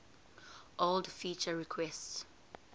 old feature requests